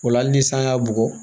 O la hali ni san y'a bugɔ